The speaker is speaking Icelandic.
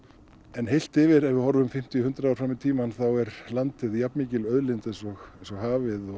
en heilt yfir ef við horfum fimmtíu hundrað ár fram í tímann þá er landið jafn mikil auðlind eins og hafið og